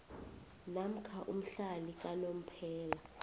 namkha umhlali kanomphela